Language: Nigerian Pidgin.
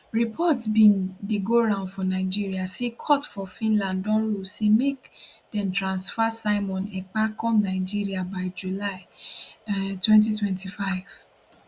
reports bin dey go round for nigeria say court for finland don rule say make dem transfer simon ekpa come nigeria by july um 2025